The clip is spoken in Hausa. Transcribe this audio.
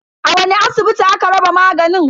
A wani asibiti aka raba maganin?